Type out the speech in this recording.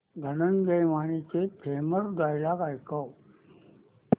धनंजय मानेचे famous dialogue ऐकव